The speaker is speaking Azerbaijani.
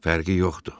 Fərqi yoxdur.